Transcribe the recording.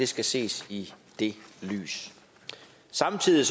skal ses i det lys samtidig er